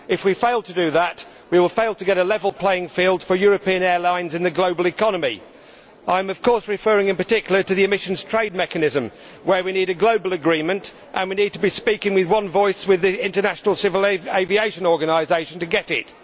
If we fail to do that, we will fail to get a level playing field for European airlines in the global economy. I am, of course, referring in particular to the emissions trade mechanism, where we need a global agreement, and we need to be speaking with one voice with the International Civil Aviation Organization to get it.